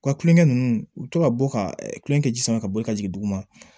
U ka kulonkɛ ninnu u bɛ to ka bɔ ka kulonkɛ ji sama ka bɔ ka jigin duguma